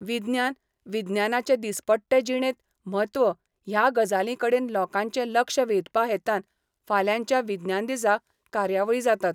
विज्ञान, विज्ञानाचें दीसपट्टे जिणेंत म्हत्व ह्या गजालीं कडेन लोकांचें लक्ष वेधपा हेतान फाल्यांच्या विज्ञान दिसा कार्यावळी जातात.